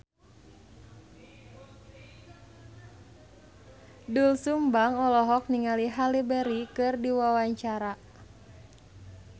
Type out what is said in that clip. Doel Sumbang olohok ningali Halle Berry keur diwawancara